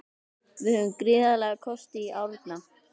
Við höfum gríðarlega kosti í Árna.